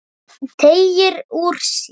Teygir úr sér.